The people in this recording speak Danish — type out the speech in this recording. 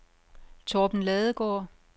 Torben Ladegaard